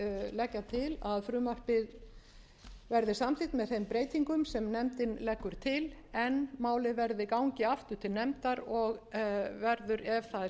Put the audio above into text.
leggja til að frumvarpið verði samþykkt með þeim breytingum sem nefndin leggur til en málið gangi aftur til nefndar og verður ef það er samþykkt þá mun